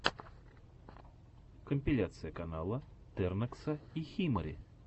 компиляция канала тернокса и химари